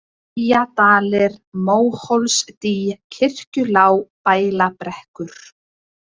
Eyjadalir, Móhólsdý, Kirkjulág, Bælabrekkur